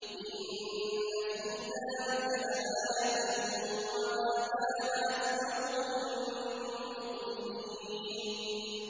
إِنَّ فِي ذَٰلِكَ لَآيَةً ۖ وَمَا كَانَ أَكْثَرُهُم مُّؤْمِنِينَ